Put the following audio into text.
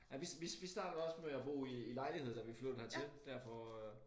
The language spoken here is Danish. Ej vi vi vi startede også med at bo i i lejlighed da vi flyttede hertil der for øh